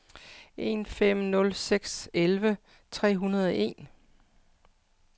en fem nul seks elleve tre hundrede og en